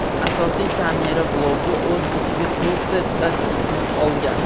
Asosiy kamera bloki o‘z ichiga to‘rtta datchikni olgan.